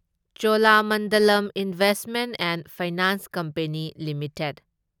Cholamandalam investment and finance company limited